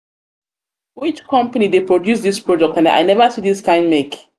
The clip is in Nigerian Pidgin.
company dey produce this product i never see this kind make.